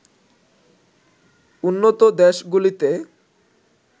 উন্নত দেশগুলিতে